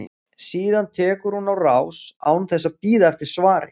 Síðan tekur hún á rás án þess að bíða eftir svari.